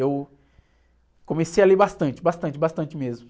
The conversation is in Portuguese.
Eu comecei a ler bastante, bastante, bastante mesmo.